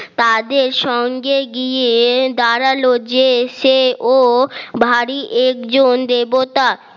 তাদের সঙ্গে গিয়ে দাঁড়ালো যে এসে ও ভারী একজন দেবতা